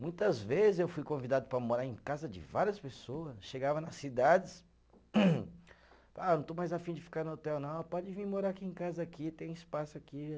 Muitas vezes eu fui convidado para morar em casa de várias pessoa, chegava nas cidades, ah, não estou mais afim de ficar no hotel não, pode vir morar aqui em casa aqui, tem espaço aqui.